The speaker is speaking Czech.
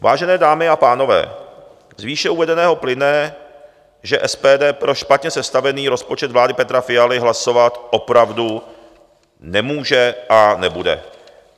Vážené dámy a pánové, z výše uvedeného plyne, že SPD pro špatně sestavený rozpočet vlády Petra Fialy hlasovat opravdu nemůže a nebude.